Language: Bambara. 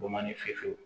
Bɔ man di fefe